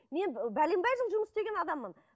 мен бәленбай жыл жұмыс істеген адаммын